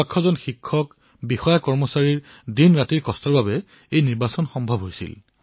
লক্ষাধিক শিক্ষক বিষয়া আৰু কৰ্মচাৰীয়ে দিনেনিশাই পৰিশ্ৰম কৰি ইয়াক সম্পন্ন কৰিলে